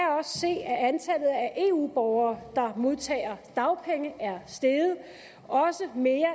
eu borgere der modtager dagpenge er steget også mere